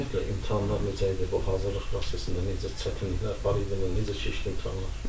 Ümumiyyətlə imtahanlar necə idi, bu hazırlıq prosesində necə çətinliklər var idi və necə keçdi imtahanlar?